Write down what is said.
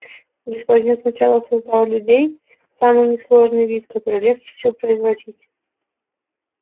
господин сначала создал людей самый несложный вид который легче всего производить